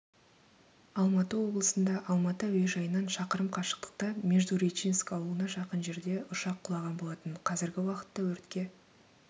алматы облысында алматы әуежайынан шақырым қашықтықта междуречинск ауылына жақын жерде ұшақ құлаған болатын қазіргі уақытта өртке